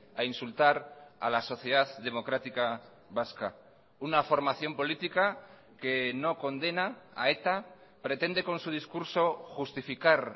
a insultar a la sociedad democrática vasca una formación política que no condena a eta pretende con su discurso justificar